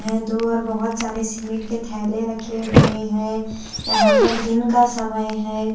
है दो और बहुत सारे सीमेंट के थैले रखे हुए हैं यहाँ पर दिन का समय है।